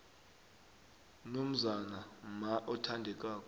nomzana mma othandekako